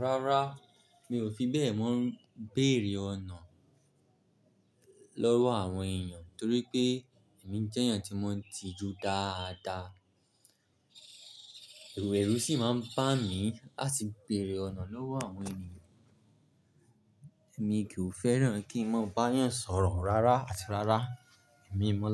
Rárá, mi ò fi bẹ́ẹ̀ mọ́ ń bèrè ọ̀nà lọ́wọ́ àwọn ènìyàn torí pé èmi jẹ́ ènìyàn tí mo ń tijú dáadáa. Ẹ̀rù èrú sì máa ń bà mí láti bèrè ọ̀nà lọ́wọ́ àwọn ènìyàn. Èmi kì í fẹ́ràn kí n máa bá ènìyàn sọ̀rọ̀ rárá àti rárá. Èmi mọ́,